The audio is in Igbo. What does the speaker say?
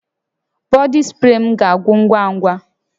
Bọdị spree m ga-agwụ ngwa ngwa